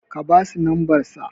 ka basu lamsbarsa